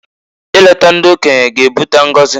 I leta ndi okenye g'ebuta ngozi.